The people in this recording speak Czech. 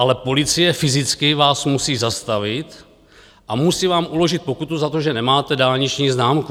Ale policie fyzicky vás musí zastavit a musí vám uložit pokutu za to, že nemáte dálniční známku.